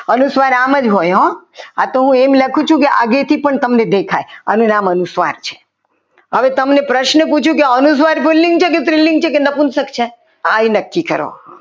અનુસ્વાર આમ જ હોય આ તો હું એમ લખું છું કે આગળથી તમને દેખાય કે અનુસ્વાર છે હવે તમને પ્રશ્ન પૂછું કે અનુસ્વર પુલ્લિંગ છે કે સ્ત્રીલિંગ છે કે નપુંસક છે આ એ નક્કી કરો.